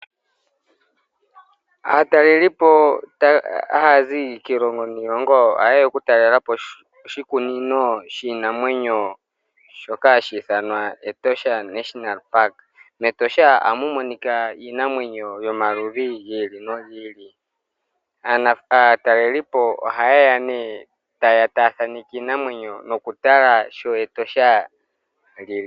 Aatalelipo haya zi kiilongo niilongo ohaye ya okutalela po oshikunino shiinamwenyo shoka hashi ithanwa Etosha National Park. MEtosha ohamu monika iinamwenyo yomaludhi gi ili nogi ili. Aatalelipo ohaye ya nee taye ya taya thaaneke iinamwenyo nokutala sho Etosha lyi li.